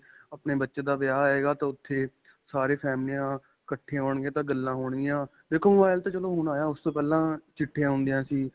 ਆਪਣੇ ਬੱਚੇ ਦਾ ਵਿਆਹ ਆਏਗਾ ਤਾਂ ਉੱਥੇ ਸਾਰੀ ਫ਼ੈਮਲਿਆਂ ਇੱਕਠਿਆਂ ਹੋਣ ਗਿਆਂ ਤਾਂ ਗੱਲਾ ਹੋਣ ਗਿਆਂ, ਦੇਖੋ mobile ਤਾਂ ਚਲੋ ਹੁਣ ਆਇਆ, ਓਸ ਤੋਂ ਪਹਿਲਾਂ ਚਿੱਠੀਆਂ ਹੁੰਦਿਆਂ ਸੀ.